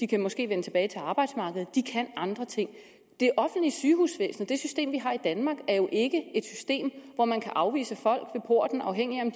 kan måske vende tilbage til arbejdsmarkedet de kan andre ting det offentlige sygehusvæsen det system vi har i danmark er jo ikke et system hvor man kan afvise folk ved porten afhængigt af